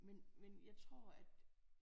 Men men jeg tror at